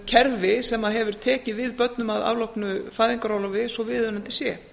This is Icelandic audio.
kerfi sem að hefur tekið við börnum af afloknu fæðingarorlofi svo viðunandi sé